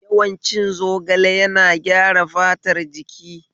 Yawan cin zogale yana gyara fatar jiki